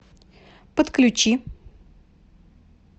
подключи